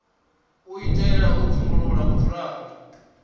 u itela u dzumbulula vhudzulapo